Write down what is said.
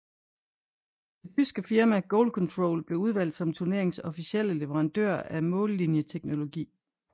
Det tyske firma GoalControl blev udvalgt som turneringens officielle leverandør af mållinjeteknologi